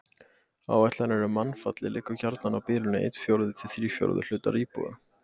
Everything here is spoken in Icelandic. Áætlanir um mannfall liggja gjarnan á bilinu einn fjórði til þrír fjórðu hlutar íbúa.